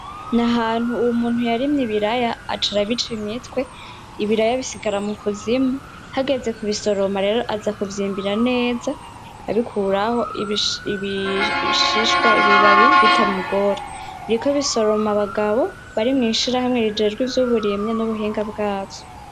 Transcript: Ni ahantu umuntu yarimye ibiraya aca arabica imitwe, ibiraya bisigara mu kuzimu, hageze kubisoroma rero aza kuvyimbira neza abikuraho ibishishwa ibibabi bitamugora, biriko bisoroma abagabo bari mu ishirahamwe rijejwe ivy'uburimyi n'ubuhinga bwavyo.